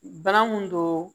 Bana mun don